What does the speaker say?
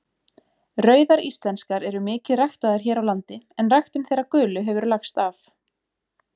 Rauðar íslenskar eru mikið ræktaðar hér á landi en ræktun þeirra gulu hefur lagst af.